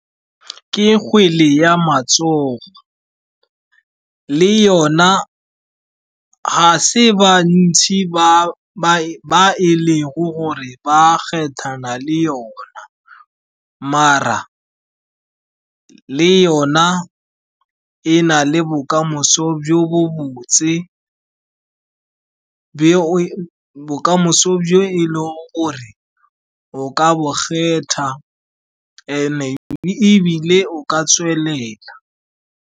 Ke kgwele ya matsogo, le yona ga se bantsi ba e lego gore ba kgethana le le yona. Maar le yona e na le bokamoso jo bo botse, bokamoso jo e lego gore o ka bo kgetha and-e ebile o ka tswelela.